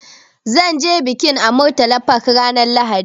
Zan ce bikin a Murtala Park ranar Lahadi.